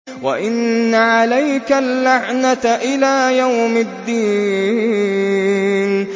وَإِنَّ عَلَيْكَ اللَّعْنَةَ إِلَىٰ يَوْمِ الدِّينِ